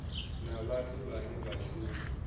na vhathu vhane vha shuma